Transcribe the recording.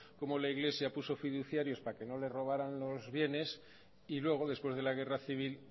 como la iglesia puso fiduciarios para que no les robaran los bienes y luego después de la guerra civil